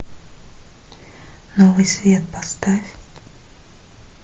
новый свет поставь